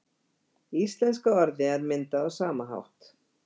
Íslenska orðið er myndað á sama hátt.